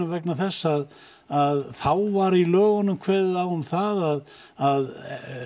vegna þess að að þá var í lögunum kveðið á um það að að